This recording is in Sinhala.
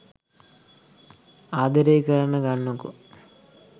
ආදරේ කරන්න ගන්නකෝ.